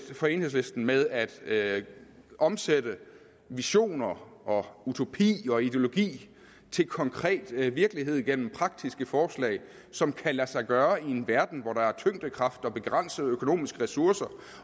for enhedslisten med at at omsætte visioner utopi og ideologi til konkret virkelighed igennem praktiske forslag som kan lade sig gøre i en verden hvor der er tyngdekraft og begrænsede økonomiske ressourcer